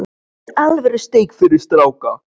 Hér er alvöru steik fyrir stráka.